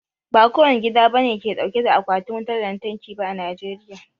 Ba kowane gida bane ke dauke da Akwatin wutar lantarki ba a Najeriya